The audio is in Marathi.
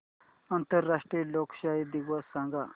आंतरराष्ट्रीय लोकशाही दिवस सांगा